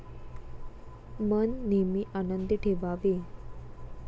मन नेहमी आनंदी ठेवावे.